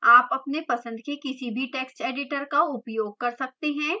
आप अपने पसंद के किसी भी text editor का उपयोग कर सकते हैं